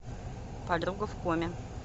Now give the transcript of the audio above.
подруга в коме